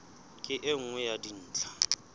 ke e nngwe ya dintlha